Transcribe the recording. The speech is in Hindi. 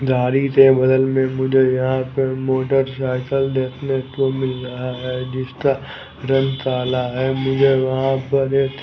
झाड़ी के बगल में मुझे यहां पर मोटर साइकिल देखने को मिल रहा है जिसका रंग काला है मुझे वहां पर एक--